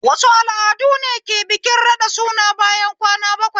Wasu al'adune ke bikin raɗa suna bayan kwana bakwai?